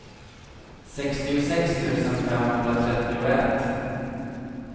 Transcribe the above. sextiosex tusen femhundratrettioett